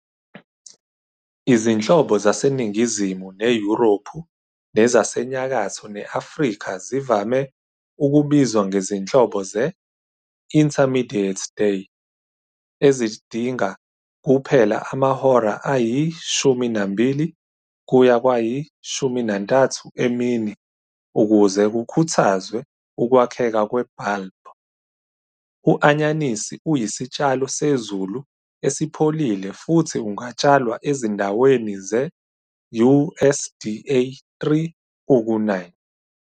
Izinhlobo zaseNingizimu neYurophu nezaseNyakatho ne-Afrika zivame ukubizwa ngezinhlobo ze- "intermediate-day", ezidinga kuphela amahora ayi-12-13 emini ukuze kukhuthazwe ukwakheka kwe-bulb. U-anyanisi uyisitshalo sezulu esipholile futhi ungatshalwa ezindaweni ze-USDA 3 uku 9.